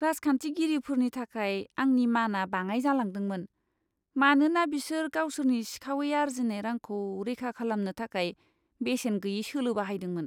राजखान्थिगिरिफोरनि थाखाय आंनि माना बाङाइ जालांदोंमोन, मानोना बिसोर गावसोरनि सिखावै आरजिनाय रांखौ रैखा खालामनो थाखाय बेसेन गैयै सोलो बाहायदोंमोन।